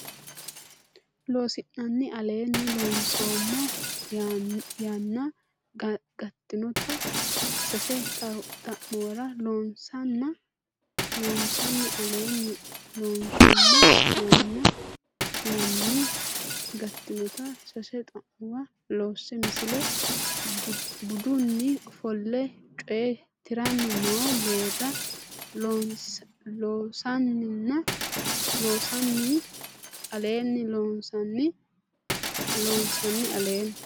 Loossinanni Aleenni loonsummo hanni gattinota sase xa muwa loosse Misile Budunni ofolle coye tiranni noo geerra Loossinanni Aleenni Loossinanni Aleenni.